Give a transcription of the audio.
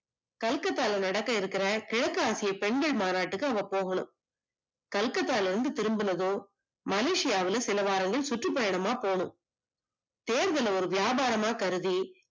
கல்கத்தால நடக்க இருக்குற கிழக்கு ஆசியா பெண்கள் மாநாட்டுக்கு அவங்க போகணும், கல்கட்டால இருந்து திரும்பனதும், மலேசியாவில சிலவாரங்கள் சுற்றுபயணமா போனும், தேர்தல்ல ஒரு வியாபாரமா கருதி